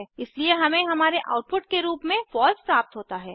इसलिए हमें हमारे आउटपुट के रूप में फॉल्स प्राप्त होता है